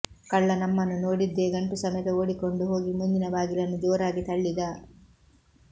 ಕಳ್ಳ ನಮ್ಮನ್ನು ನೋಡಿದ್ದೆ ಗಂಟು ಸಮೇತ ಓಡಿಕೊಂಡು ಹೋಗಿ ಮುಂದಿನ ಬಾಗಿಲನ್ನು ಜೋರಾಗಿ ತಳ್ಳಿದ